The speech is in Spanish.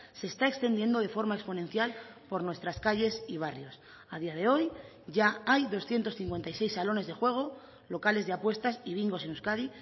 se está extendiendo de forma exponencial por nuestras calles y barrios a día de hoy ya hay doscientos cincuenta y seis salones de juego locales de apuestas y bingos en euskadi